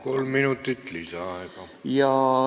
Kolm minutit lisaaega.